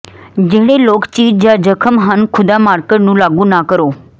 ਜਿਹੜੇ ਲੋਕ ਚੀਰ ਜ ਜ਼ਖਮ ਹਨ ਖ਼ੁਦਾ ਮਾਰਕਰ ਨੂੰ ਲਾਗੂ ਨਾ ਕਰੋ